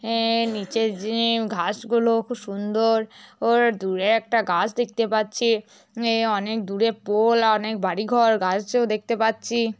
এ নিচের জে-এ ঘাস গুলো খুব সুন্দ-অর ওর দূরে একটা গাছ দেখতে পাচ্ছি এ অনেক দূরে পো-ওল। অনেক বাড়িঘর গাছও দেখতে পাচ্ছি --